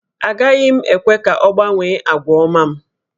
Agaghị m ekwe ka ọ gbanwee àgwà ọma m